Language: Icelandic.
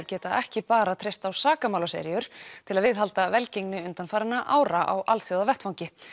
geta ekki bara treyst á til að viðhalda velgengni undanfarinna ára á alþjóðavettvangi